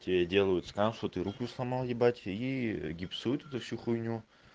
тебе делают скан что ты руку сломал ебать и гипсуют эту всю хуйню